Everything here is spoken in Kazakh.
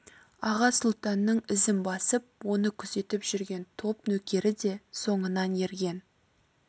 аға сұлтанның ізін басып оны күзетіп жүрген топ нөкері де соңынан ерген